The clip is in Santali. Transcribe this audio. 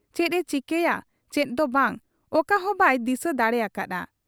ᱪᱮᱫ ᱮ ᱪᱤᱠᱟᱹᱭᱟ ᱪᱮᱫ ᱫᱚ ᱵᱟᱝ, ᱚᱠᱟᱦᱚᱸ ᱵᱟᱭ ᱫᱤᱥᱟᱹ ᱫᱟᱲᱮ ᱟᱠᱟ ᱦᱟᱫ ᱟ ᱾